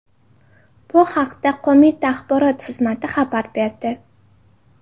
Bu haqda qo‘mita axborot xizmati xabar berdi .